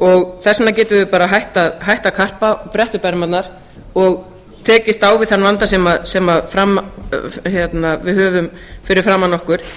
og þess vegna getum við bara hætt að karpa og brett upp ermarnar og tekist á við þann vanda sem við höfum fyrir framan okkur